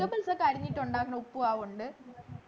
അരിഞ്ഞിട്ടുണ്ടാക്കുന്ന ഉപ്പുമാവുണ്ട്